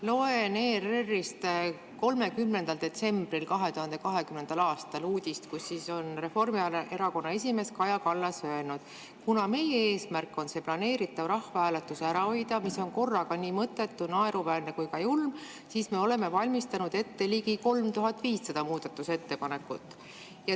Loen ERR-ist 30. detsembri 2020. aasta uudist, kus on Reformierakonna esimees Kaja Kallas öelnud: "Kuna meie eesmärk on see planeeritav rahvahääletus ära hoida, mis on korraga nii mõttetu, naeruväärne kui ka julm, siis me oleme valmistanud ette ligi 3500 muudatusettepanekut.